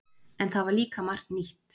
En það var líka margt nýtt.